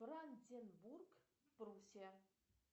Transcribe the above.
бранденбург пруссия